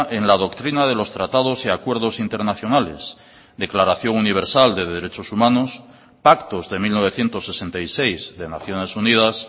en la doctrina de los tratados y acuerdos internacionales declaración universal de derechos humanos pactos de mil novecientos sesenta y seis de naciones unidas